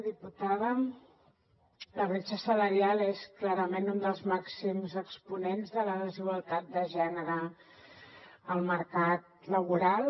diputada la bretxa salarial és clarament un dels màxims exponents de la desigualtat de gènere al mercat laboral